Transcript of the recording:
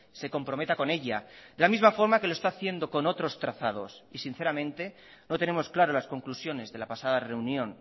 se comprometa con ella de la misma forma que lo está haciendo con otros trazados y sinceramente no tenemos claro las conclusiones de la pasada reunión